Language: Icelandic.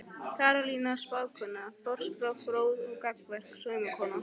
Karolína spákona, forspá fróð og gagnmerk sómakona.